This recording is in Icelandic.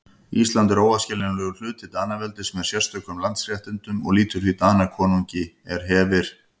Ísland er óaðskiljanlegur hluti Danaveldis með sérstökum landsréttindum og lýtur því Danakonungi er hefir.